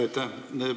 Aitäh!